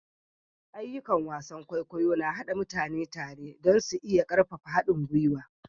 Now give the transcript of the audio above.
Ayyukan wasan kwaikwayo na haɗa mutane tare don su iya ƙarfafa haɗin gwiwa.